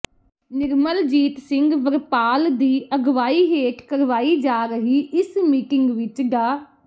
ਨਿਰਮਲਜੀਤ ਸਿੰਘ ਵਰਪਾਲ ਦੀ ਅਗਵਾਈ ਹੇਠ ਕਰਵਾਈ ਜਾ ਰਹੀ ਇਸ ਮੀਟਿੰਗ ਵਿਚ ਡਾ